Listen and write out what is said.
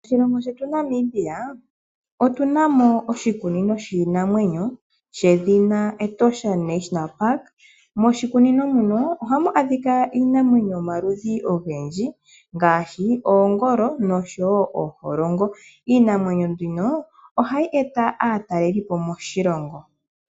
Moshilongo shetu Namibia otu na mo oshikunino shiinamwenyo shedhina "Etosha National Park ".Moshikunino muno oha mu adhika iinamwenyo yomaludhi ogendji ngaashi oongolo nosho woo ooholongo na ohayi eta aatalelipo moshilongo.